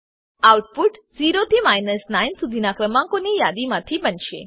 output 0 થી 9 સુધીનાં ક્રમાંકોની યાદીમાંથી બનશે